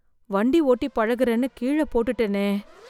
வண்டி ஓட்டி பழகுறேன்னு கீழ போட்டுட்டேனே!